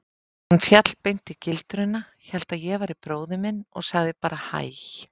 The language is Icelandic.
Hann féll beint í gildruna, hélt að ég væri bróðir minn og sagði bara hæ.